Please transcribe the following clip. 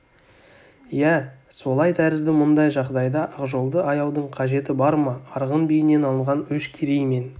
иә солай тәрізді мұндай жағдайда ақжолды аяудың қажеті бар ма арғын биінен алынған өш керей мен